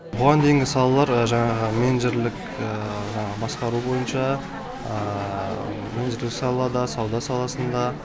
бұған дейінгі салалар жаңағы менеджерлік жаңағы басқару бойынша өзге салада сауда саласында